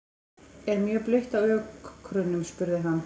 Er mjög blautt á ökrunum? spurði hann.